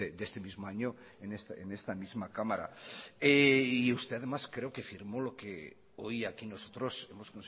de este mismo año en esta misma cámara usted además creo que firmó lo que hoy aquí nosotros hemos